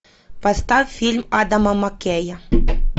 поставь фильм адама маккея